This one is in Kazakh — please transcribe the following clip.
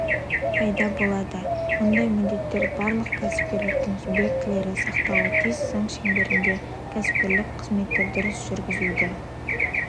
пайда болады мұндай міндеттер барлық кәсіпкерліктің субъектілері сақтауы тиіс заң шеңберінде кәсіпкерлік қызметті дұрыс жүргізуді